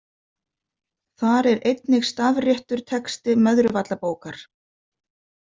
Þar er einnig stafréttur texti Möðruvallabókar.